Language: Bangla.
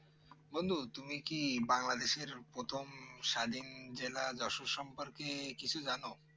বন্ধু তুমি কি বাংলাদেশর প্রথম স্বাধীন জেলা যশোর সম্পর্কে কিছু জানো